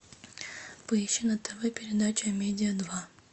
поищи на тв передача амедиа два